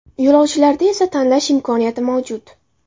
Yo‘lovchilarda esa tanlash imkoniyati mavjud.